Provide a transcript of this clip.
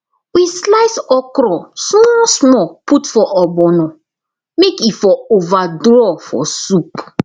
we slice okro small small put for ogbono may e for over draw for soup